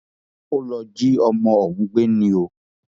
ó lọ jí ọmọ òun gbé ni o